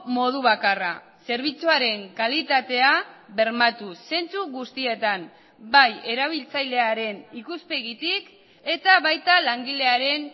modu bakarra zerbitzuaren kalitatea bermatu zentzu guztietan bai erabiltzailearen ikuspegitik eta baita langilearen